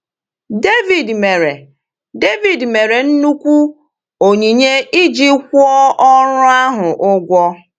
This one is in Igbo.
Devid mere Devid mere nnukwu onyinye iji kwụọ ọrụ ahụ ụgwọ.